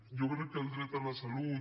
jo crec que el dret a la salut